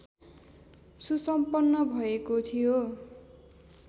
सुसम्पन्न भएको थियो